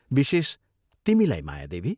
विशेष, तिमीलाई मायादेवी!